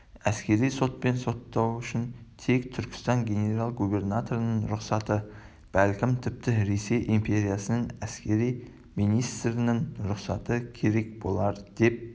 әскери сотпен соттау үшін тек түркістан генерал-губернаторының рұқсаты бәлкім тіпті ресей империясының әскери министрінің рұқсаты керек болар деп